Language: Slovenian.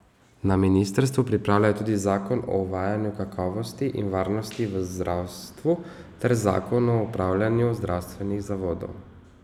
Na ministrstvu pripravljajo tudi zakon o uvajanju kakovosti in varnosti v zdravstvu ter zakon o upravljanju zdravstvenih zavodov.